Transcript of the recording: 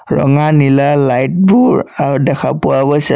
ৰঙা নীলা লাইট বোৰ আৰু দেখা পোৱা গৈছে।